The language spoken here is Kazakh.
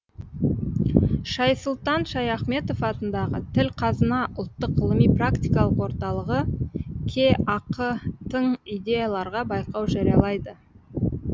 шайсұлтан шаяхметов атындағы тіл қазына ұлттық ғылыми практикалық орталығы кеақ тың идеяларға байқау жариялайды